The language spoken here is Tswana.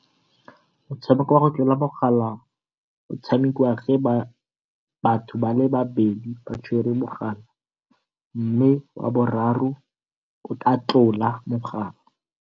Motshameko wa go tlola mogala o tshamekiwa ke batho babedi ba tshwere mogala, mme wa boraro a tla tlola mogala.